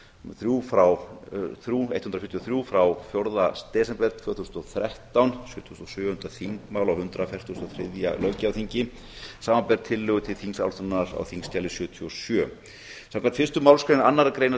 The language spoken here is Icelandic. þrjú hundruð fjörutíu og þrjú frá fjórða desember tvö þúsund og þrettán sjötugasta og sjöunda þingmál á hundrað fertugasta og þriðja löggjafarþingi samanber tillögu til þingsályktunar á þingskjali sjötíu og sjö samkvæmt fyrstu málsgrein annarrar greinar